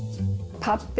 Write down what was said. pabbi